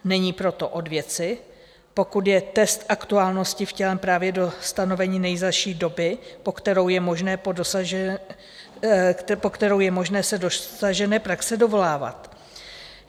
Není proto od věci, pokud je test aktuálnosti vtělen právě do stanovení nejzazší doby, po kterou je možné se dosažené praxe dovolávat.